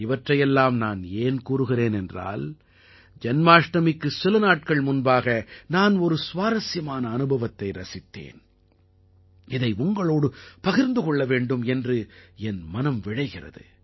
இவற்றை எல்லாம் நான் ஏன் கூறுகிறேன் என்றால் ஜன்மாஷ்டமிக்கு சில நாட்கள் முன்பாக நான் ஒரு சுவாரசியமான அனுபவத்தை ரசித்தேன் இதை உங்களோடு பகிர்ந்து கொள்ள வேண்டும் என்று என் மனம் விழைகிறது